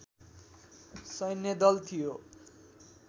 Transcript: सैन्यदल थियो